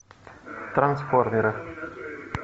трансформеры